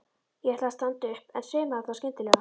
Ég ætlaði að standa upp en svimaði þá skyndilega.